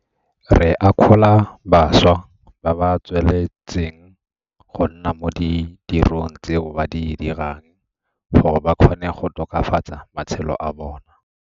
Re akgola bašwa ba ba tsweletseng go nna mo ditirong tseo ba di dirang gore ba kgone go tokafatsa matshelo a bona.